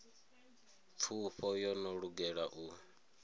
pfufho yo no lugela u